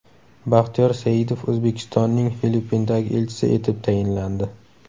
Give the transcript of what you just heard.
Baxtiyor Saidov O‘zbekistonning Filippindagi elchisi etib tayinlandi.